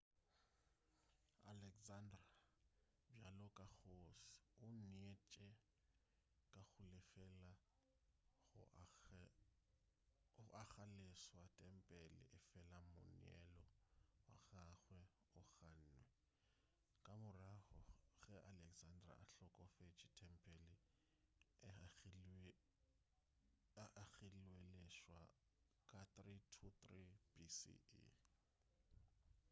alexander bjalo ka kgoši o neetše ka go lefela go agaleswa tempele efela moneelo wa gagwe o gannwe ka morago ge alexander a hlokofetše tempele e agilweleswa ka 323 bce